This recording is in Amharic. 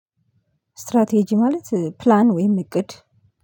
ስትራቴጂ ማለት ፕላን ወይም እቅድ።